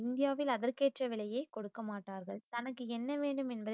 இந்தியாவில் அதற்கேற்ற விலையை கொடுக்க மாட்டார்கள் தனக்கு என்ன வேண்டும் என்~